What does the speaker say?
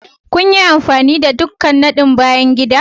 Kun yi amfani da ɗukan nadin bayan gida?